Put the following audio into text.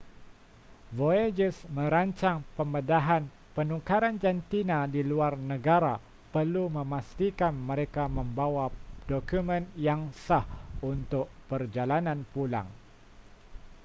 voyagers merancang pembedahan penukaran jantina di luar negara perlu memastikan mereka membawa dokumen yang sah untuk perjalanan pulang